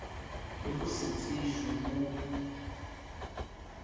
le ho se tsejwe ha